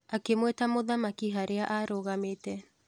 Akĩmwĩta mũthamaki harĩa arũgamĩte